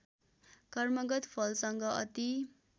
कर्मगत फलसँग अति